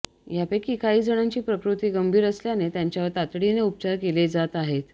यापैकी काही जणांची प्रकृती गंभीर असल्याने त्यांच्यावर तातडीने उपचार केले जात आहेत